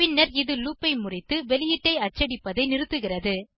பின்னர் இது லூப் ஐ முறித்து வெளியீட்டை அச்சடிப்பதை நிறுத்துகிறது